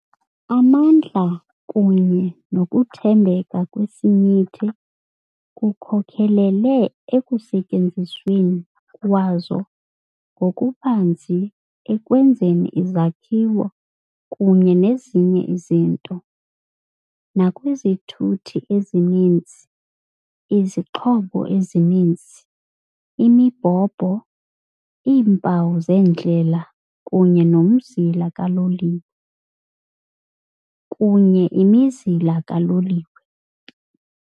Amandla kunye nokuthembeka kwesinyithi kukhokelele ekusetyenzisweni kwazo ngokubanzi ekwenzeni izakhiwo kunye nezinye izinto, nakwizithuthi ezininzi, izixhobo ezininzi, imibhobho, iimpawu zendlela kunye nomzila kaloliwe. kunye imizila kaloliwe.